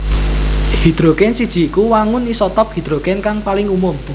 Hidrogen siji iku wangun isotop hidrogen kang paling umum